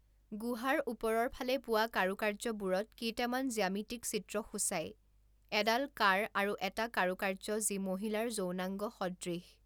গুহাৰ ওপৰৰ ফালে পোৱা কাৰুকাৰ্যবোৰত কেইটামান জ্যামিতিক চিত্ৰ সূচাই, এডাল কাড় আৰু এটা কাৰুকাৰ্য যি মহিলাৰ যৌনাঙ্গ সদৃশ।